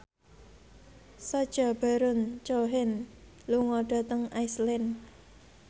Sacha Baron Cohen lunga dhateng Iceland